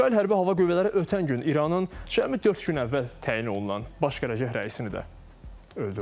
İsrail Hərbi Hava Qüvvələri ötən gün İranın cəmi dörd gün əvvəl təyin olunan Baş qərargah rəisini də öldürdü.